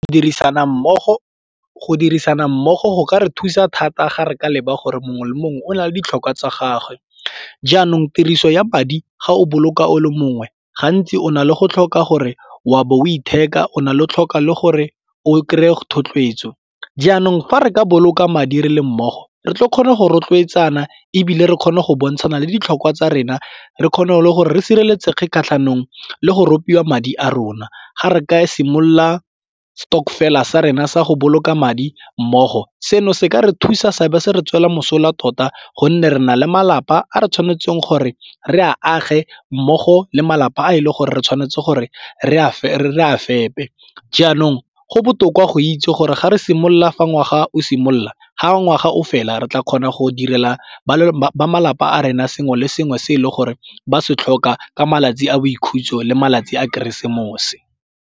Dirisana mmogo, go dirisana mmogo go ka re thusa thata ga re ka leba gore mongwe le mongwe o na le ditlhokwa tsa gagwe. Jaanong tiriso ya madi ga o boloka o le mongwe gantsi o na le go tlhoka gore wa bo o itheka o na le tlhoka le gore o kry-e thotloetso. Jaanong fa re ka boloka madi re le mmogo re tle re kgone go rotloetsana ebile re kgone go bontshane le ditlhokwa tsa rena re kgona go le gore re sireletsege kgatlhanong le go ropiwa madi a rona ga re ka simolola stokvel-a sa rona sa go boloka madi mmogo. Seno se ka re thusa seabe se re tswela mosola tota gonne re na le malapa a re tshwanetseng gore re a age mmogo le malapa a e leng gore re tshwanetse gore re a fepe, jaanong go botoka go itse gore ga re simolola fa ngwaga o simolola ga ngwaga o fela re tla kgona go direla malapa a rena sengwe le sengwe se e le gore ba se tlhoka ka malatsi a boikhutso le malatsi a keresemose.